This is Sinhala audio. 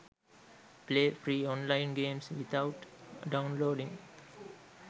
play free online games without downloading